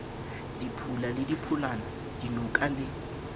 diphula le diphulana dinoka le